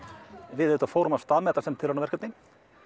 við auðvitað fórum af stað með þetta sem tilraunaverkefni